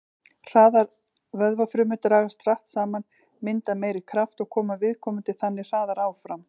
Hraðar vöðvafrumur dragast hratt saman, mynda meiri kraft og koma viðkomandi þannig hraðar áfram.